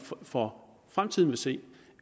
for fremtiden vil se